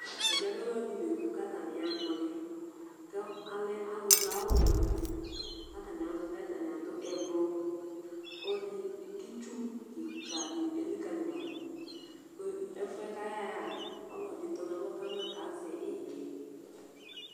Ɛmɛlɛ lɛ ɔlɔdi la eku kʋ atani yaha ma ɔliɛ kʋ alɛ ɔlu du awu wɛ wani kʋ atani azɛ ɔliɛ Atani adu ɛblɔ Itsu kìka di elikali ma du Ɛfʋɛ kʋ ayaha yɛ'a ɔlɔdi tɔ nʋ alɔ kama kʋ azɛ ihɛ